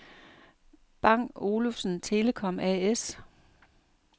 Bang & Olufsen Telecom A/S